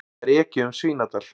Það er ekið um Svínadal.